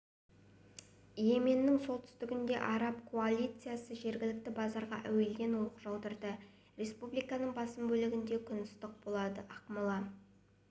йеменнің солтүстігінде араб коалициясы жергілікті базарға әуеден оқ жаудырды республиканың басым бөлігінде күн ыстық болады ақмола